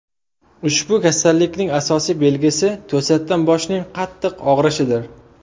Ushbu kasallikning asosiy belgisi to‘satdan boshning qattiq og‘rishidir.